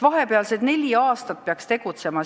Vahepealsed neli aastat peaks nad ka tegutsema.